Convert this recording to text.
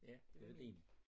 Ja det var din